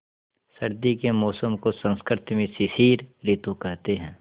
सर्दी के मौसम को संस्कृत में शिशिर ॠतु कहते हैं